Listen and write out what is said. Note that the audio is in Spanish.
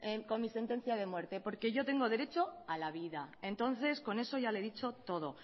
con mi sentencia de muerte porque yo tengo derecho a la vida y entonces con eso ya le he dicho todo